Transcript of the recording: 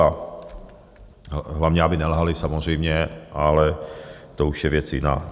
A hlavně aby nelhali samozřejmě, ale to už je věc jiná.